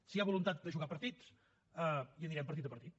si hi ha voluntat de jugar partits anirem partit a partit